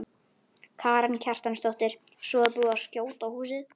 Karen Kjartansdóttir: Svo er búið að skjóta á húsið?